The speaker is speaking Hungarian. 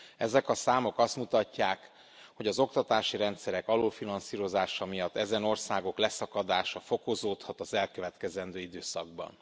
Ezek a számok azt mutatják, hogy az oktatási rendszerek alulfinanszírozása miatt ezen országok leszakadása fokozódhat az elkövetkező időszakban.